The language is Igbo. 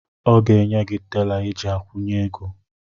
Ọ ga-enye gị tela iji akwụnye ego.